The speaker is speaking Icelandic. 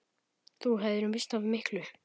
Þú hefðir misst af miklu!